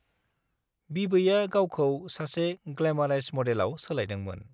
बिबैआ गावखौ सासे ग्लैमरास मडेलआव सोलायदोंमोन।